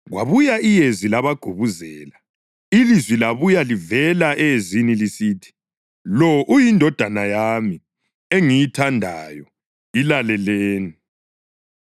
Kwabuya iyezi labagubuzela, ilizwi labuya livela eyezini lisithi, “Lo yiNdodana yami, engiyithandayo. Ilaleleni!”